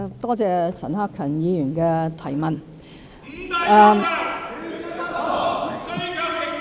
多謝陳克勤議員的提問。